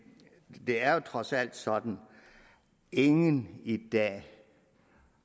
det er jo trods alt sådan at ingen i dag